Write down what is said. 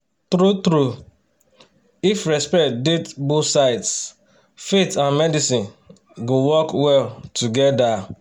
true-true if respect dey both sides faith and medicine go work well together.